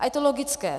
A je to logické.